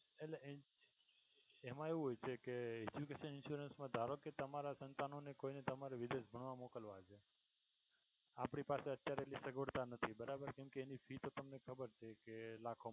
એટલે એમ એવું હોય છે કે education insurance મા ધારો કે તમારા સંતાનો ની કોઈ ને તમને વિદેશ ભણવા મોકલવા છે. આપણી પાસે જે સગવડતા નથી બરાબર કે એની fee તો તમને ખબર છે કે લાખોમા